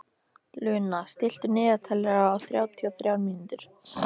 Luna, stilltu niðurteljara á þrjátíu og þrjár mínútur.